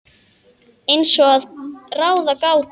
Eins og að ráða gátu.